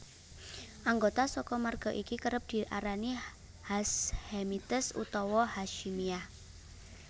Anggota saka marga iki kerep diarani Hashemites utawa Hasyimiyah